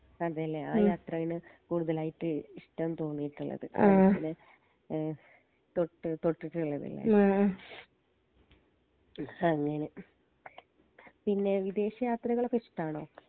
അതെ ലെ ആ യാത്രയിൽ കൂടുതലായിട്ട് ഇഷ്ട്ടം തോന്നിട്ട്ള്ളത് ഏഹ് തൊട്ടു തൊട്ടിട്ട്ള്ളത് ലെ അങ്ങനെ പിന്നെ വിദേശ യാത്രകളൊക്കെ ഇഷ്‌ട്ടാണോ